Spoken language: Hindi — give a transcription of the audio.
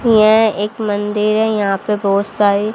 यह एक मंदिर है यहां पे बहोत सारी--